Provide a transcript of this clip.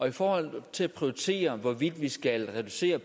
i forhold til at prioritere hvorvidt vi skal reducere